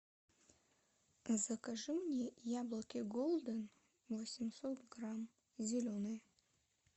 закажи мне яблоки голден восемьсот грамм зеленые